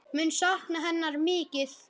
Mun sakna hennar mikið.